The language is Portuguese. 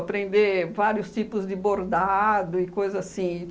Aprender vários tipos de bordado e coisa assim.